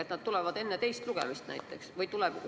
Ehk need tulevad enne teist lugemist näiteks?